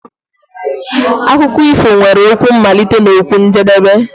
Akụkọ ifo nwere okwu mmalite na okwu njedebe.